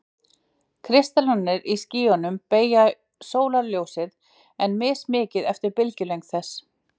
Kristallarnir í skýjunum beygja sólarljósið, en mismikið eftir bylgjulengd þess.